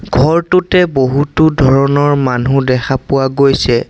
ঘৰটোতে বহুতো ধৰণৰ মানুহ দেখা পোৱা গৈছে।